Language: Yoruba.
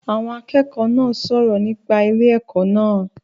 Àwọn akẹ́kọ̀ọ́ náà sọ̀rọ̀ nípa ilé ẹ̀kọ́ náà